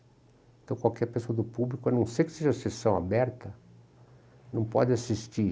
Então qualquer pessoa do público, a não ser que seja sessão aberta, não pode assistir.